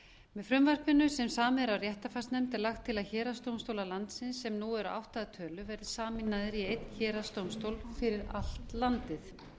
með frumvarpinu sem samið er af réttarfarsnefnd er lagt til að héraðsdómstólar landsins sem nú eru átta að tölu verði sameinaðir í einn héraðsdómstól fyrir allt landið